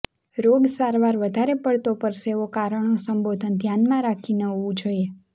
રોગ સારવાર વધારે પડતો પરસેવો કારણો સંબોધન ધ્યાનમાં રાખીને હોવું જોઈએ